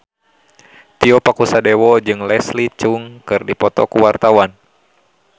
Tio Pakusadewo jeung Leslie Cheung keur dipoto ku wartawan